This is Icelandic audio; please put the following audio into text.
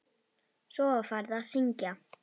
Svo var farið að syngja.